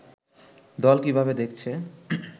দল কিভাবে দেখছে